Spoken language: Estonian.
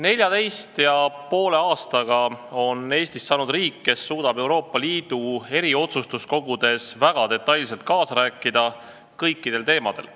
Neljateist ja poole aastaga on Eestist saanud riik, kes suudab Euroopa Liidu otsustuskogudes väga detailselt kaasa rääkida kõikidel teemadel.